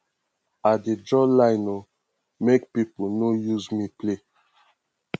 i dey draw line o make pipo no use me play